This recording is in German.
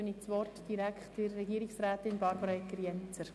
Dann erteile ich das Wort der Regierungsrätin Barbara Egger-Jenzer.